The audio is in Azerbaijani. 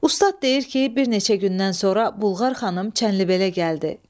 Ustad deyir ki, bir neçə gündən sonra Bular xanım Çənlibelə gəldi.